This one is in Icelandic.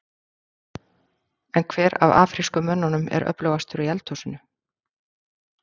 En hver af afrísku mönnunum er öflugastur í eldhúsinu?